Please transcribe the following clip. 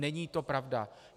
Není to pravda.